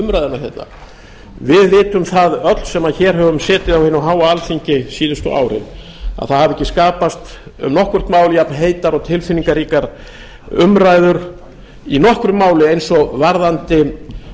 umræðuna við vitum það öll sem hér höfum setið á hinu háa alþingi síðustu árin að það hafa ekki skapast um nokkurt mál jafnheitar og tilfinningaríkar umræður í nokkru máli eins og varðandi